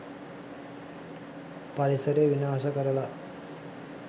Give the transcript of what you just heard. පරිසරය විනාශ කරලා